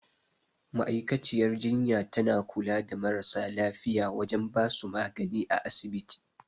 Ma'aikaciyar jinya tana kula da marasa lafiya wajen basu magani a asibiti